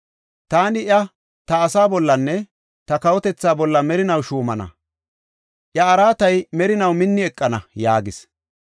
Taani iya ta asaa bollanne ta kawotethaa bolla merinaw shuumana; iya araatay merinaw minni eqana’ ” yaagis.